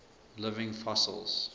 living fossils